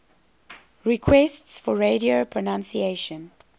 requests for audio pronunciation